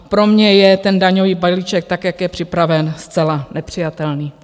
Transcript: Pro mne je ten daňový balíček, tak jak je připraven, zcela nepřijatelný.